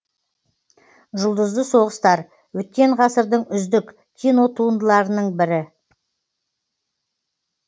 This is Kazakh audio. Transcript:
жұлдызды соғыстар өткен ғасырдың үздік кинотуындыларының бірі